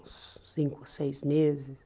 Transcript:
Uns cinco, seis meses.